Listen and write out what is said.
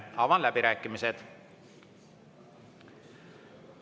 Avan läbirääkimised.